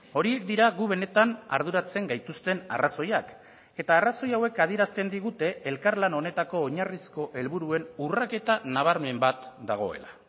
horiek dira gu benetan arduratzen gaituzten arrazoiak eta arrazoi hauek adierazten digute elkarlan honetako oinarrizko helburuen urraketa nabarmen bat dagoela